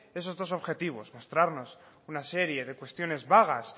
esos dos objetivos mostrarnos una serie de cuestiones vagas